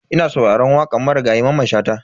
Ina sauraran wakan Marigayi Mamman Shata.